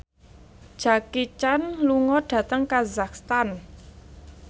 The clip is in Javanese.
Jackie Chan lunga dhateng kazakhstan